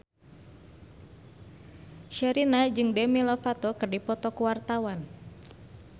Sherina jeung Demi Lovato keur dipoto ku wartawan